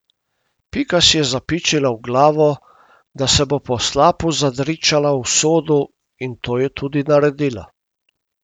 Pika si je zapičila v glavo, da se bo po slapu zadričala v sodu, in to je tudi naredila.